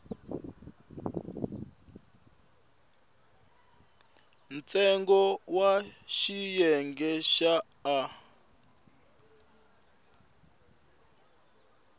ntsengo wa xiyenge xa a